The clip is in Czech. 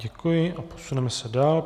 Děkuji a posuneme se dál.